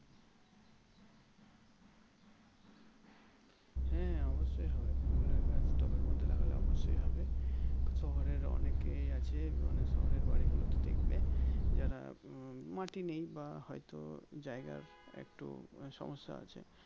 হ্যাঁ অবশ্যই হবে ফুলের গাছ টবের মধ্যে লাগালে অবশ্যই হবে শহরের অনেকেই আছে মানে শহরের বাড়িগুলোতে দেখবে যারা মাটি নেই বা হয়তো জায়গা হয়তো একটু সমস্যা আছে